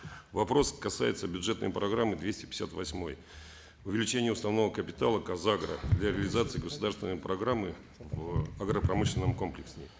вопрос касается бюджетной программы двести пятьдесят восьмой увеличение уставного капитала казагро для реализации государственной программы в агропромышленном комплексе